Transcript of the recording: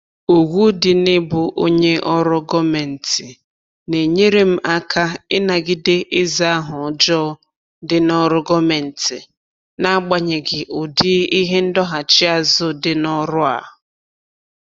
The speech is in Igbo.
Ugwu dị na-ịbụ onye ọrụ gọọmentị na-enyere m aka ịnagide ịza aha ọjọọ dị n'ọrụ gọọmentị n'agbanyeghị ụdị ihe ndọghachi azụ dị n'ọrụ a